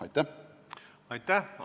Aitäh!